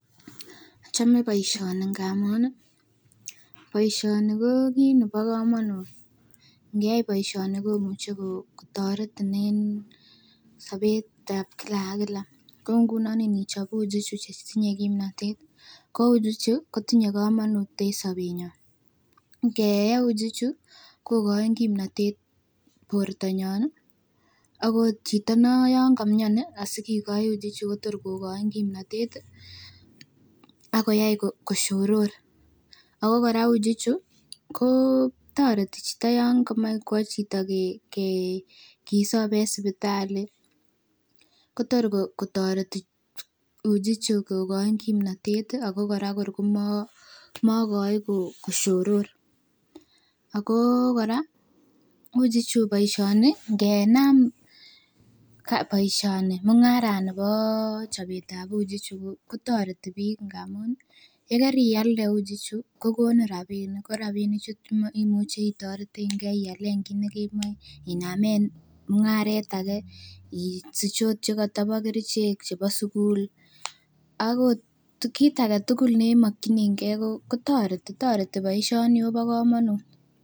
Achome boisioni ngamun ih boisioni ko kit nebo komonut ngeyai boisioni komuche kotoretin en sobetab kila ak kila kou ngunon nichob uji chuton chebo kimntotet ih ko uji ichu kotinye komonut en sobetnyun, ngeyee uji chu kokoin kimnotet bortonyon ih akot chito non komiono sikiloi uji chu kotor kokoin kimnotet ih akoyai koshoror. Ako kora uji chu kotoreti chito yan komoe kwo chito ke kisob en sipitali kotor kotoreti uji chu kokoin kimnotet ih ako kora kor komokoi koshoror. Ako kora uji chu boisioni ngenam boisioni mung'aranibo chobetab uji chu kotoreti biik ngamun yekerialde uji chu kokonin rapinik. Ko rapinik chu imuche itoretengee ialen kit nekemoe inamen mung'aret age isich ot chekotobo kerichek chebo sugul akot kit age tugul nemokyini gee kotoreti toreti boisioni akobo komonut